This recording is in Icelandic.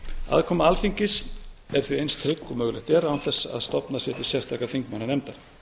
aðkoma alþingis er því eins trygg og mögulegt er án þess að stofnað sé til sérstakrar þingmannanefndar